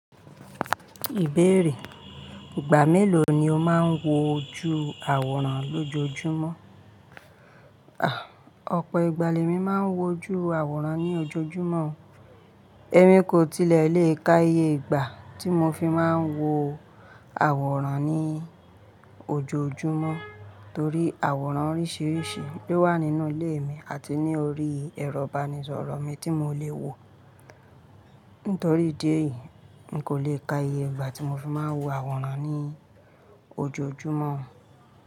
Ìbéèrè: Ìgbà mélòó ni o máa ń wo ju àwòrán lójoojúmọ́? Òpó ìgbàl ẹ̀ mi máa ń wo ju àwòrán ní ojoojúmọ́. Ẹ̀mi kò tilẹ̀ le ka iye ìgbà tí mo fi máa ń wo àwòrán ní ojoojúmọ́ torí àwòrán oríṣiríṣi ló wà nínú ilé mi àti ní orí ẹ̀rọ ìbánisọ̀rọ̀ mi tí mò lè wo. Nítorí ìdí èyí, n kò le ka iye ìgbà tí mo fi máa ń wo àwòrán ní ojoojúmọ́.